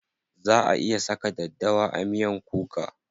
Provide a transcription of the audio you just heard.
Za a iya saka daddawa a miyan kuka.